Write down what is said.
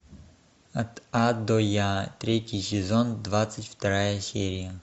от а до я третий сезон двадцать вторая серия